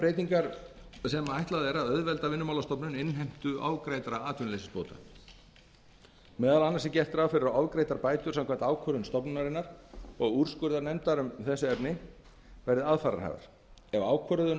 breytingar sem ætlað er að auðvelda vinnumálastofnun innheimtu ofgreiddra atvinnuleysisbóta meðal annars er gert ráð fyrir að ofgreiddar bætur samkvæmt ákvörðunum stofnunarinnar og úrskurðarnefndar um þessi efni verði aðfararhæfar ef ákvörðun